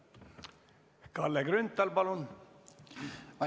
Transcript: Kalle Grünthal, palun!